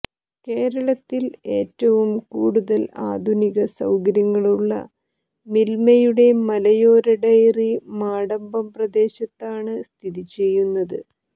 കേരളത്തിൽ ഏറ്റവും കൂടുതൽ ആധുനിക സൌകര്യങ്ങളുള്ള മിൽമയുടെ മലയോര ഡയറി മടമ്പം പ്രദേശത്താണ് സ്ഥിതിചെയ്യുന്നത്